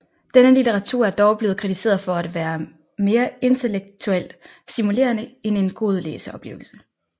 Denne litteratur er dog blevet kritiseret for at være mere intellektuelt stimulerende end en god læseoplevelse